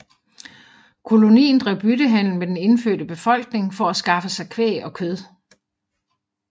Kolonien drev byttehandel med den indfødte befolkningen for at skaffe sig kvæg og kød